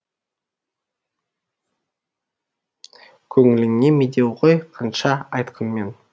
қөніліңе медеу ғой қанша айтқанмен